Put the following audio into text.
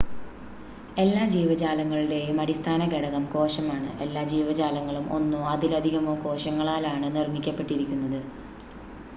എല്ലാ ജീവജാലങ്ങളുടെയും അടിസ്ഥാന ഘടകം കോശമാണ് എല്ലാ ജീവജാലങ്ങളും ഒന്നോ അതിലധികമോ കോശങ്ങളാലാണ് നിർമ്മിക്കപ്പെട്ടിരിക്കുന്നത്